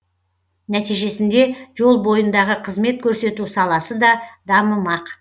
нәтижесінде жол бойындағы қызмет көрсету саласы да дамымақ